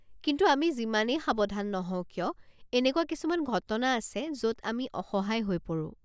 কিন্তু আমি যিমানেই সাৱধান নহওঁ কিয়, এনেকুৱা কিছুমান ঘটনা আছে য'ত আমি অসহায় হৈ পৰোঁ।